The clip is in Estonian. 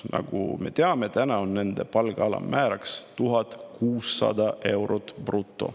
Nagu me teame, nende palga alammäär on 1600 eurot bruto.